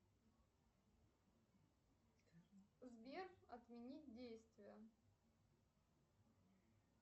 сбер отменить действие